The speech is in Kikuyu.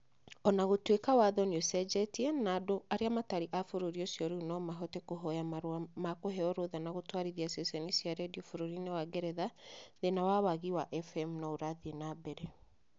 O na gũtuĩka watho nĩ ũcenjetie na andũ arĩa matarĩ a bũrũri ũcio rĩu no mahote kũhoya marũa ma kũheo rũtha na gũtwarithia ceceni cia redio bũrũri-inĩ wa Ngeretha, thĩĩna wa wagi wa FM no ũrathiĩ na mbere.